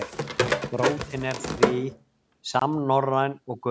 Rótin er því samnorræn og gömul.